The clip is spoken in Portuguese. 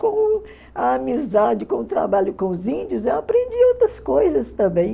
Com a amizade, com o trabalho com os índios, eu aprendi outras coisas também.